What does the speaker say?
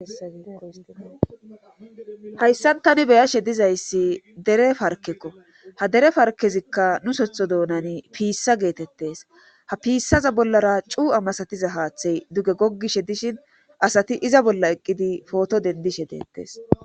Hayssan tani beyashe dizayssi dere parkekko ha dere farkezikka nu sotho doonani piissa geetettes ha piissaza bollara cu'a masatiza haaththey duge gogishe dishin asati iza bolla eqqidi pooto dendishe deettees